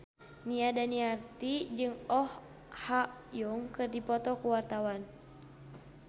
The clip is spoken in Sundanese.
Nia Daniati jeung Oh Ha Young keur dipoto ku wartawan